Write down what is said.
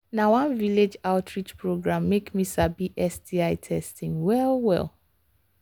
na one village outreach program make me sabi sti testing well well